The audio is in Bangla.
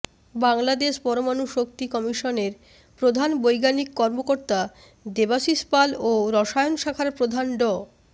বাংলাদেশ পরমাণু শক্তি কমিশনের প্রধান বৈজ্ঞানিক কর্মকর্তা দেবাশীষ পাল ও রসায়ন শাখার প্রধান ড